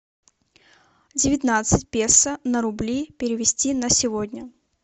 девятнадцать песо на рубли перевести на сегодня